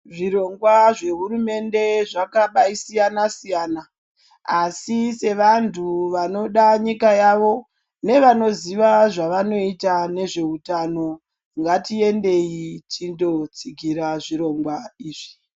Zvirongwa zve hurumende zvakabayi siyana siyana asi sevantu vanoda nyika yavo nevanoziva zvavanoita nezveutano ngatiendeyi tinotsigura zvirongwa izvi.